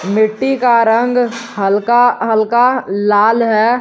मिट्टी का रंग हल्का हल्का लाल है।